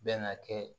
Bɛn ka kɛ